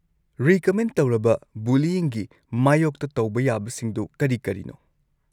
Recommend ꯇꯧꯔꯕ ꯕꯨꯂꯤꯏꯪꯒꯤ ꯃꯥꯌꯣꯛꯇ ꯇꯧꯕ ꯌꯥꯕꯁꯤꯡꯗꯣ ꯀꯔꯤ ꯀꯔꯤꯅꯣ?